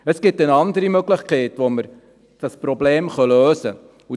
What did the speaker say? Es gibt eine andere Möglichkeit, wie wir dieses Problem lösen können: